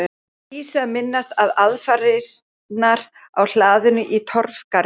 Dísu að minnast á aðfarirnar á hlaðinu í Torfgarði.